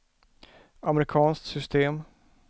amerikanskt system